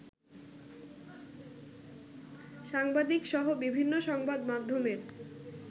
সাংবাদিকসহ বিভিন্ন সংবাদ মাধ্যমের